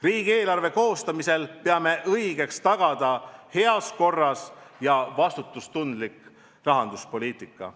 Riigieelarve koostamisel peame õigeks tagada heas korras ja vastutustundlik rahanduspoliitika.